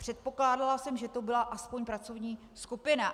Předpokládala jsem, že to byla aspoň pracovní skupina!